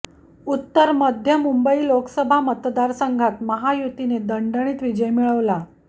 उत्तर मध्य मुंबई लोकसभा मतदारसंघात महायुतीने दणदणीत विजय मिळवला